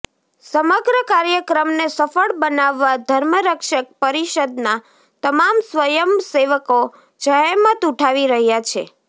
સમગ્ર કાર્યક્રમને સફળ બનાવવા ધર્મરક્ષક પરિષદના તમામ સ્વયંમ સેવકો જહેમત ઉઠાવી રહ્યા છે